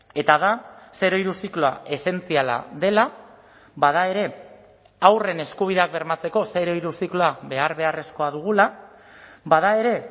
eta da zero hiru zikloa esentziala dela bada ere haurren eskubideak bermatzeko zero hiru zikloa behar beharrezkoa dugula bada ere